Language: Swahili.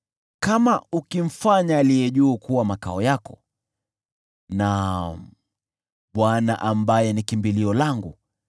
Kama ukimfanya Aliye Juu Sana kuwa makao yako: naam, Bwana ambaye ni kimbilio langu,